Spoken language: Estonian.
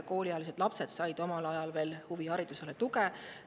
Kooliealised lapsed said omal ajal veel huviharidusele tuge.